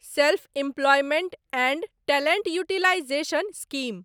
self employment and talent utilization scheme